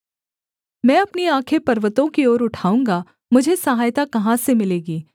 मैं अपनी आँखें पर्वतों की ओर उठाऊँगा मुझे सहायता कहाँ से मिलेगी